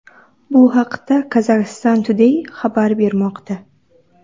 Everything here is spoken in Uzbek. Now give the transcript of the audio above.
Bu haqda Kazakhstan Today xabar bermoqda .